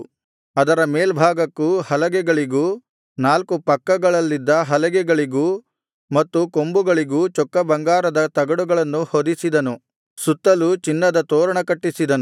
ಅದರ ಮೇಲ್ಭಾಗಕ್ಕೂ ಹಲಗೆಗಳಿಗೂ ನಾಲ್ಕು ಪಕ್ಕಗಳಲ್ಲಿದ್ದ ಹಲಗೆಗಳಿಗೂ ಮತ್ತು ಕೊಂಬುಗಳಿಗೂ ಚೊಕ್ಕ ಬಂಗಾರದ ತಗಡುಗಳನ್ನು ಹೊದಿಸಿದನು ಸುತ್ತಲೂ ಚಿನ್ನದ ತೋರಣ ಕಟ್ಟಿಸಿದನು